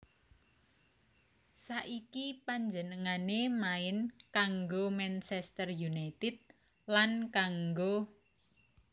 Saiki panjenengané main kanggo Manchester United lan kanggo